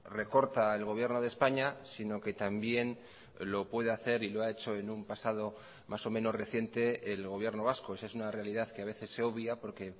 recorta el gobierno de españa sino que también lo puede hacer y lo ha hecho en un pasado más o menos reciente el gobierno vasco esa es una realidad que a veces se obvia porque